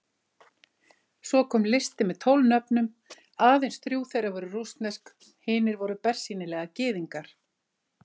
Svo kom listi með tólf nöfnum, aðeins þrjú þeirra voru rússnesk, hinir voru bersýnilega Gyðingar.